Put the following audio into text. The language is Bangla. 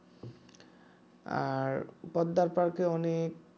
আর পদ্মার পার্কে অনেক